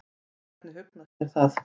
Hvernig hugnast þér það?